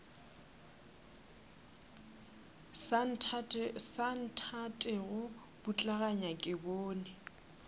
sa nthatego putlaganya ke bone